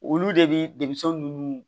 Olu de bi denmisɛnw ninnu